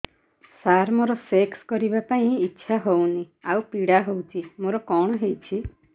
ସାର ମୋର ସେକ୍ସ କରିବା ପାଇଁ ଇଚ୍ଛା ହଉନି ଆଉ ପୀଡା ହଉଚି ମୋର କଣ ହେଇଛି